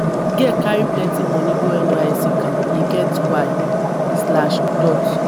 di girl carry plenty moni go nysc camp e get why.